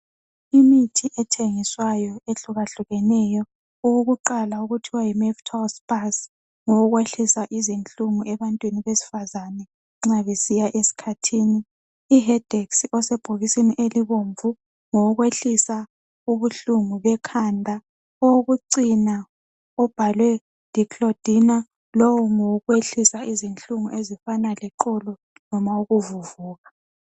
Imithi ethengiswayo ehlukahlukeneyo. Owokuqala kuthwa yiMeftal-spas ngowokwehlisa izinhlungu ebantwini besifazane nxa besiya esikhathini. IHedex osebhokisini elibomvu ngowokwehlisa ubuhlungu ekhanda. Owokucina obhalwe declodena lowo ngowokwehlisa izinhlungu ezifana leqolo noma ukuvuvuka.